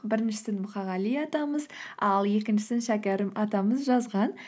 біріншісін мұқағали атамыз ал екіншісін шәкәрім атамыз жазған